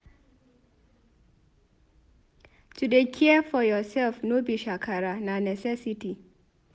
To dey care for yoursef no be shakara na necessity.